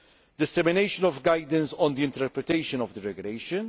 the dissemination of guidance on the interpretation of the regulation